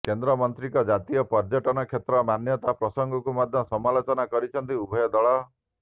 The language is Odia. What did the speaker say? କେନ୍ଦ୍ରମନ୍ତ୍ରୀଙ୍କ ଜାତୀୟ ପର୍ୟ୍ୟଟନ କ୍ଷେତ୍ର ମାନ୍ୟତା ପ୍ରସଙ୍ଗକୁ ମଧ୍ୟ ସମାଲୋଚନା କରିଛନ୍ତି ଉଭୟ ଦଳ